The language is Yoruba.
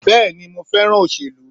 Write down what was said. Bẹ́ẹ̀ni mo fẹ́ràn òṣèlú